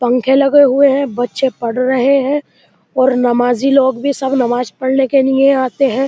पंखे लगे हुए हैं। बच्चे पढ़ रहे है और नमाजी लोग भी सब नमाज पढ़ने के लिए आते हैं।